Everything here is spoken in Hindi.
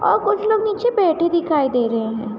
और कुछ लोग नीचे बैठे दिखाई दे रहे हैं।